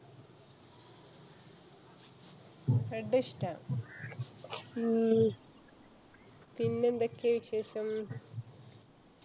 red ഇഷ്ട്ടാണ്. ഉം പിന്നെ എന്തെക്കെ വിശേഷം?